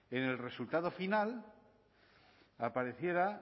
en el resultado final aparecieran